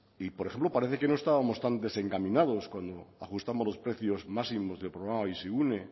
y por ejemplo parece que no estábamos tan desencaminados cuando ajustamos los precios máximos del programa bizigune